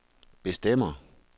bestemmer